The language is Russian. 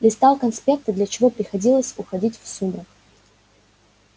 листал конспекты для чего приходилось уходить в сумрак